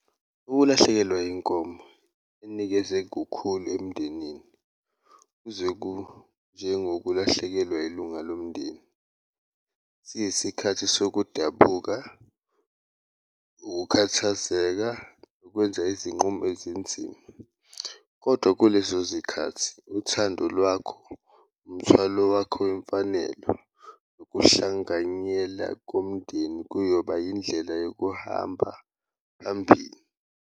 Ukulahlekelwa yiy'nkomo kunikeze kukhulu emndenini kuze kunjengokulahlekelwa ilunga lomndeni, siyisikhathi sokudabuka, ukukhathazeka, ukwenza izinqumo ezinzima kodwa kulezo zikhathi uthando lwakho, umthwalo wakho wemfanelo. Ukuhlanganyela komndeni kuyoba indlela yokuhamba phambili.